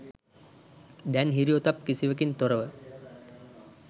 දැන් හිරි ඔතප් කිසිවකින් තොරව